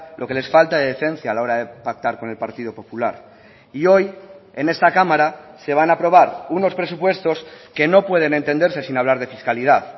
lo que les falta de decencia a la hora de pactar con el partido popular y hoy en esta cámara se van a aprobar unos presupuestos que no pueden entenderse sin hablar de fiscalidad